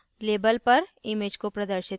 label पर image को प्रदर्शित करना